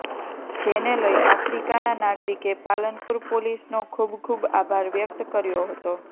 જેને લઇ આફ્રિકાના નાગરિકે પાલનપુર પોલીસનો ખૂબ ખૂબ આભાર વ્યક્ત કર્યો હતો